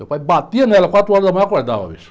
Meu pai batia nela, quatro horas da manhã acordava, bicho.